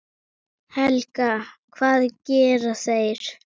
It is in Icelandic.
Helga: Hvað gera þeir?